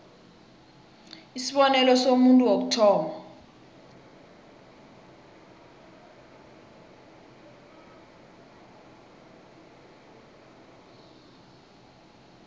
isibonelo somuntu wokuthoma